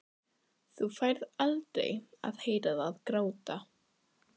Þú færð aldrei að heyra það gráta.